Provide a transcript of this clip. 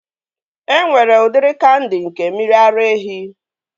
E nwere udiri kandi nke mmiri ara ehi